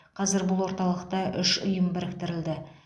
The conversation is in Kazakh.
қазір бұл орталықта үш ұйым біріктірілді